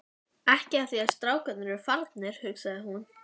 Siggi horfði drjúgur á áheyrendur sína.